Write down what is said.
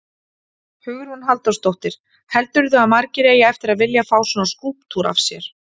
Hugrún Halldórsdóttir: Heldurðu að margir eigi eftir að vilja fá svona skúlptúr af sér?